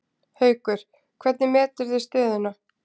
Haukur: Hvernig meturðu stöðuna?